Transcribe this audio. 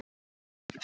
Þín systir Heiða.